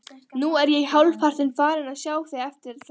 Nú er ég hálfpartinn farinn að sjá eftir þessu öllu.